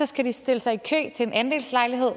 skal de stille sig i kø til en andelslejlighed og